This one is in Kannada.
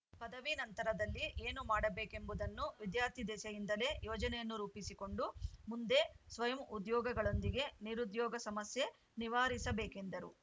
ಪದವಿ ನಂತರದಲ್ಲಿ ಏನು ಮಾಡಬೇಕೆಂಬುದನ್ನು ವಿದ್ಯಾರ್ಥಿ ದೆಸೆಯಿಂದಲೇ ಯೋಜನೆಯನ್ನು ರೂಪಿಸಿಕೊಂಡು ಮುಂದೆ ಸ್ವಯಂ ಉದ್ಯೋಗಗಳೊಂದಿಗೆ ನಿರುದ್ಯೋಗ ಸಮಸ್ಯೆ ನಿವಾರಿಸಬೇಕೆಂದರು